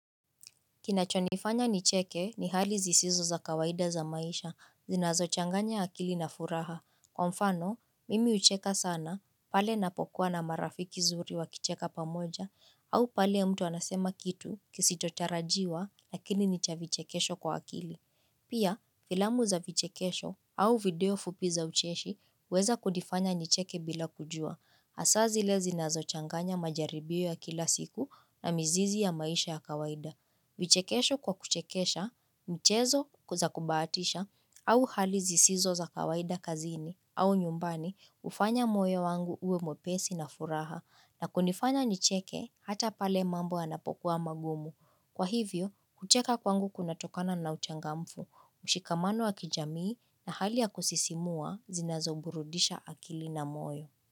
Kinacho nifanya nicheke ni hali zisizo za kawaida za maisha, zinazo changanya akili na furaha. Kwa mfano, mimi hucheka sana, pale napokuwa na marafiki zuri wa kicheka pamoja, au pale mtu anasema kitu, kisicho tarajiwa, lakini nicha vichekesho kwa akili. Pia, filamu za vichekesho au video fupi za ucheshi, huweza kudifanya nicheke bila kujua. Hasa zile zinazochanganya majaribio ya kila siku na mizizi ya maisha ya kawaida. Vichekesho kwa kuchekesha, mchezo ku zaku bahatisha au hali zisizo za kawaida kazini au nyumbani hufanya moyo wangu uwe mwepesi na furaha na kunifanya nicheke hata pale mambo anapokuwa magumu. Kwa hivyo, kucheka kwangu kuna tokana na uchangamfu, mshikamano wa kijamii na hali ya kusisimua zinazo burudisha akili na moyo.